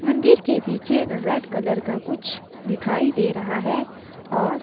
मंदिर के पीछे रेड कलर का कुछ दिखाई दे रहा है और --